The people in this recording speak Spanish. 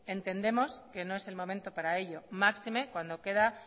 entendemos que no es el momento para ello máxime cuando queda